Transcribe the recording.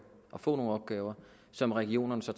og få nogle opgaver som regionerne så